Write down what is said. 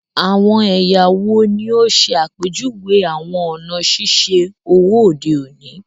Awọn ẹya wo ni o ṣe apejuwe awọn ọna ṣiṣe owo ode oni?